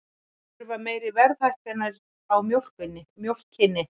Þurfa meiri verðhækkanir á mjólkinni